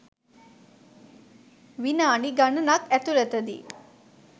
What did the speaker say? විනාඩි ගණනක් ඇතුළතදී